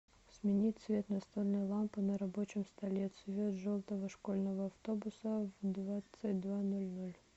сменить цвет настольной лампы на рабочем столе цвет желтого школьного автобуса в двадцать два ноль ноль